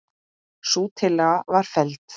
Sú tillaga var felld.